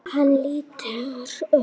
Hann lítur upp.